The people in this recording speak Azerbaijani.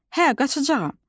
Hə, qaçacağam.